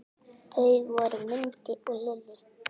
Þau voru Mundi og Lillý.